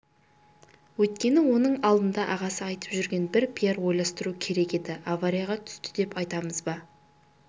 өйткені оның алдында ағасы айтып жүрген бір пиар ойластыру керек еді аварияға түсті деп айтамыз ба